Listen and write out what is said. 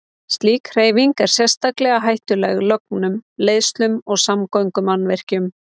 Slík hreyfing er sérstaklega hættuleg lögnum, leiðslum og samgöngumannvirkjum.